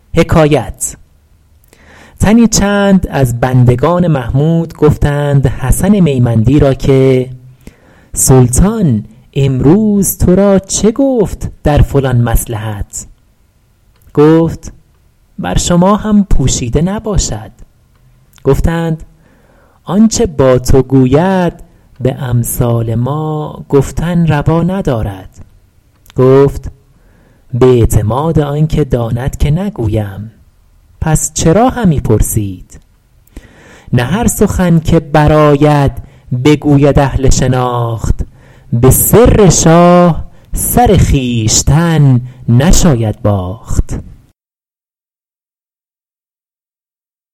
تنی چند از بندگان محمود گفتند حسن میمندی را که سلطان امروز تو را چه گفت در فلان مصلحت گفت بر شما هم پوشیده نباشد گفتند آنچه با تو گوید به امثال ما گفتن روا ندارد گفت به اعتماد آن که داند که نگویم پس چرا همی پرسید نه هر سخن که برآید بگوید اهل شناخت به سر شاه سر خویشتن نشاید باخت